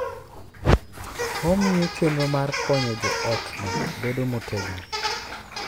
Omiyo chenro mar konyo jootno bedo motegno.